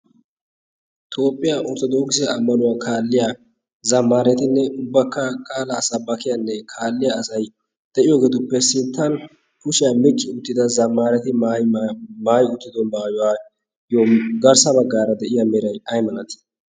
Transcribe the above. toophphiyaa ortodooksi ammanuwaa kaalliya zamaaretinne ubbakka qaalaa sabbakiyaanne kaalliya asay de'iyoogeeduppe sinttan kushiyaa micci uttida zamaareti maayyi uttido maayuwaayyo garssa baggaara de'iya meray aimanatii